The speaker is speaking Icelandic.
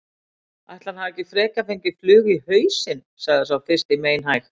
Ætli hann hafi ekki frekar fengið flugu í hausinn sagði sá fyrsti meinhægt.